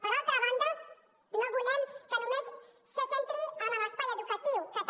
per altra banda no volem que només se centri en l’espai educatiu que també